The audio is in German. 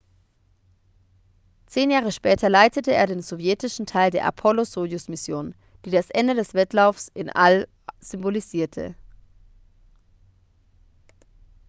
zehn jahre später leitete er den sowjetischen teil der apollo-sojus-mission die das ende des wettlaufs ins all symbolisierte